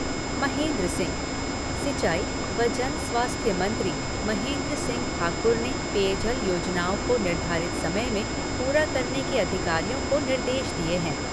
महेन्द्र सिंह सिंचाई व जनस्वास्थ्य मंत्री महेन्द्र सिंह ठाकुर ने पेयजल योजनाओं को निर्धारित समय में पूरा करने के अधिकारियों को निर्देश दिए हैं।